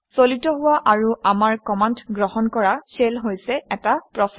চালিত হোৱা আৰু আমাৰ কমাণ্ড গ্ৰহণ কৰা শেল হৈছে এটা প্ৰচেচ